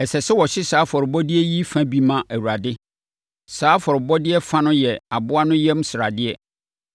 Ɛsɛ sɛ wɔhye saa afɔrebɔdeɛ yi fa bi ma Awurade. Saa afɔrebɔdeɛ fa no yɛ aboa no yam sradeɛ,